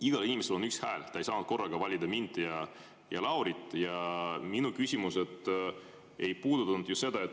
Igal inimesel on üks hääl, ta ei saa korraga valida mind ja Laurit ja minu küsimus ei puudutanud seda.